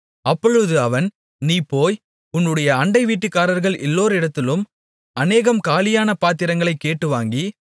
அப்பொழுது அவன் நீ போய் உன்னுடைய அண்டைவீட்டுக்காரர்கள் எல்லோரிடத்திலும் அநேகம் காலியான பாத்திரங்களைக் கேட்டுவாங்கி